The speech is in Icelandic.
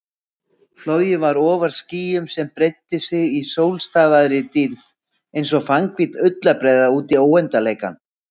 Flogið var ofar skýjum sem breiddu sig í sólstafaðri dýrð einsog fannhvít ullarbreiða útí óendanleikann.